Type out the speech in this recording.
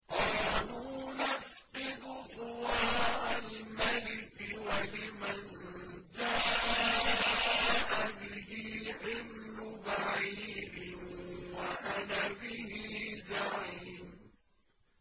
قَالُوا نَفْقِدُ صُوَاعَ الْمَلِكِ وَلِمَن جَاءَ بِهِ حِمْلُ بَعِيرٍ وَأَنَا بِهِ زَعِيمٌ